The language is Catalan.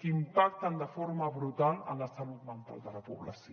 que impacten de forma brutal en la salut mental de la població